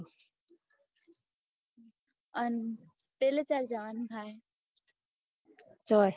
અન પેલે ચ્યારે જવાનું થાય